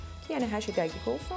yəni hər şey dəqiq olsun.